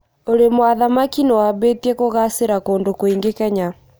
ũrĩmwa thamaki nĩwambĩtie kugacĩra kũndũ kũingì Kenya